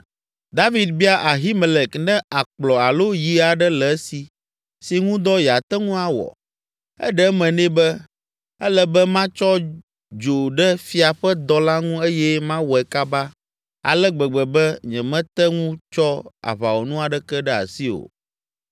David bia Ahimelek ne akplɔ alo yi aɖe le esi si ŋu dɔ yeate ŋu awɔ. Eɖe eme nɛ be, “Ele be matsɔ dzo ɖe fia ƒe dɔ la ŋu eye mawɔe kaba ale gbegbe be nyemete ŋu tsɔ aʋawɔnu aɖeke ɖe asi o!”